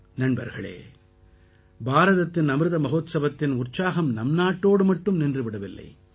நண்பர்களே பாரதத்தின் அமிர்த மஹோத்சவத்தின் உற்சாகம் நம் நாட்டோடு மட்டும் நின்று விடவில்லை